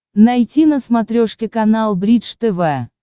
найти на смотрешке канал бридж тв